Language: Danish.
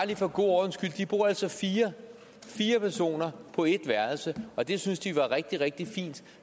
for god ordens skyld de bor altså fire fire personer på et værelse og det synes de er rigtig rigtig fint